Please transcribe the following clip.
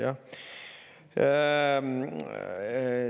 Ma ei tea.